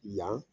Yan